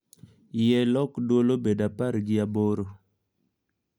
Yie lok dwol obed apar gi aboro